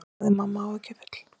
sagði mamma áhyggjufull.